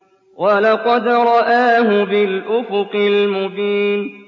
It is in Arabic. وَلَقَدْ رَآهُ بِالْأُفُقِ الْمُبِينِ